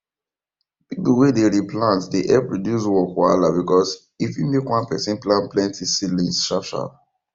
pipu wey the re plant dey help reduce work wahala because e fit make one person plant plenty seedlings sharp sharp